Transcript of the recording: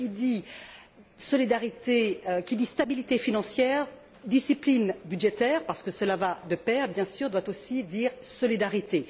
Cependant, qui dit stabilité financière, discipline budgétaire parce que cela va de pair, bien sûr doit aussi dire solidarité.